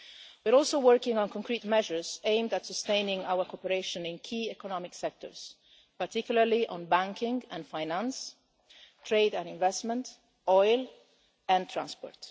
We are also working on concrete measures aimed at sustaining our cooperation in key economic sectors, particularly on banking and finance, trade and investment, oil and transport.